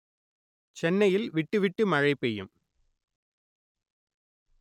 சென்னையில் விட்டு விட்டு மழை பெய்யும்